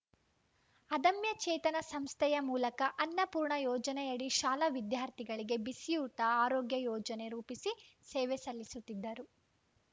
ಅದಮ್ಯ ಚೇತನ ಸಂಸ್ಥೆಯ ಮೂಲಕ ಅನ್ನಪೂರ್ಣ ಯೋಜನೆಯಡಿ ಶಾಲಾ ವಿದ್ಯಾರ್ಥಿಗಳಿಗೆ ಬಿಸಿಯೂಟ ಆರೋಗ್ಯ ಯೋಜನೆ ರೂಪಿಸಿ ಸೇವೆ ಸಲ್ಲಿಸುತ್ತಿದ್ದರು